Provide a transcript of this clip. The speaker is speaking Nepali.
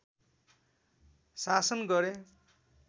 शासन गरे